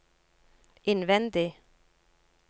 innvendig